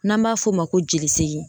N'an b'a f'o ma ko jolisegin